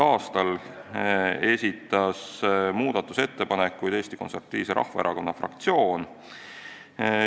a esitas muudatusettepanekuid Eesti Konservatiivse Rahvaerakonna fraktsioon.